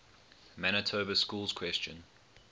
manitoba schools question